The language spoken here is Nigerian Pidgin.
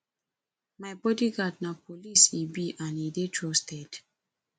my bodyguard na policeman he be and he dey trusted